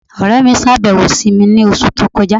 Ọ̀rẹ̀ mi ṣábẹ̀wò sí mi ni ọṣù tó kọja